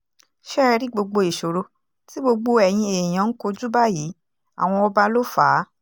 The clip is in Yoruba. ṣé ẹ rí gbogbo ìṣòro tí gbogbo eyín èèyàn ń kojú báyìí àwọn ọba ló fà á